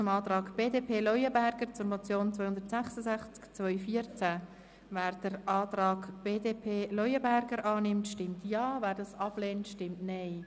Wer den Antrag der BaK zur Motion 266-2014 von Grossrat Leuenberger annimmt, stimmt Ja, wer dies ablehnt, stimmt Nein.